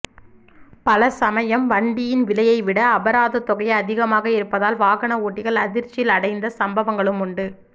பலசமயம் வண்டியின் விலையை விட அபராதத்தொகை அதிகமாக இருப்பதால் வாகன ஓட்டிகள் அதிர்ச்சியில் அடைந்த சம்பவங்களும் உண்டு